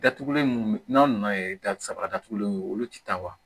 Datugulen munnu be n'an nana ye da saba datugulen ye olu ti taa wa